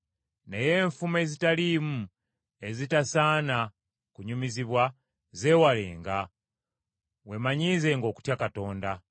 Naye enfumo ezitaliimu, ezitasaana kunyumizibwa, zeewalenga. Weemanyiizenga okutya Katonda.